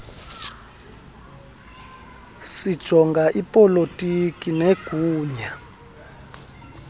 sijonga ipolotiki negunya